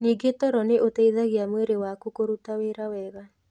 Ningĩ toro nĩ ũteithagia mwĩrĩ waku kũruta wĩra wega.